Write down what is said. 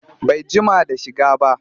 Bai jima da shiga ba